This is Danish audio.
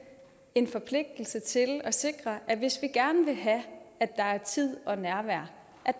en forpligtelse til at sikre at der hvis vi gerne vil have at der er tid og nærvær